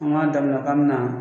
An k'a daminɛ k'an mi na